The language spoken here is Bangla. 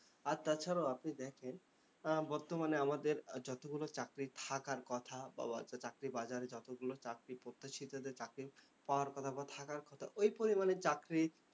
আর তাছাড়াও আপনি দেখেন, বর্তমানে আমাদের যতগুলো চাকরি থাকার কথা বা চাকরির বাজারে যতগুলো চাকরি প্রত্যাশিতদের চাকরি পাওয়ার কথা বা থাকার কথা, ওই পরিমানে চাকরি